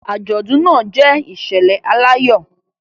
Àjọ̀dún náà jẹ́ ìṣẹ̀lẹ̀ aláyọ̀